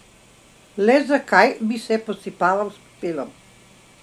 Le zakaj bi se posipaval s pepelom?